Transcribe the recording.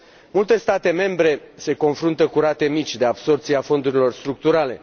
Multe state membre se confruntă cu rate mici de absorbție a fondurilor structurale.